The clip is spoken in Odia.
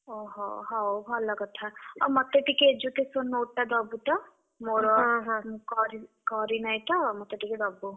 ଓହୋ ହଉ ଭଲ କଥା। ଆଉ ମତେ ଟିକେ education note ଟା ଦବୁତ। ମୋର କରି, କରି ନାହିଁତ ମତେ ଟିକେ ଦବୁ।